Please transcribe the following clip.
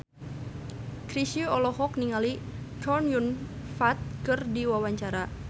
Chrisye olohok ningali Chow Yun Fat keur diwawancara